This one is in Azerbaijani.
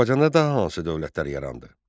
Azərbaycanda daha hansı dövlətlər yarandı?